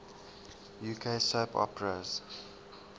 uk soap operas